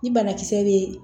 Ni banakisɛ bɛ